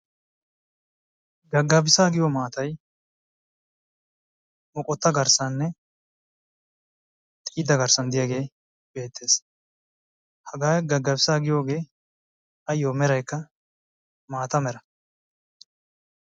Gagabisa giyo maatay maatay moqqota garssanne xiida garsan diyagee beetees hagaa gagabisaa giyogee ayoo meraykka maata mera.